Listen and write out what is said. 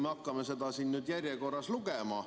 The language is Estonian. Hakkame seda nüüd järjekorras lugema.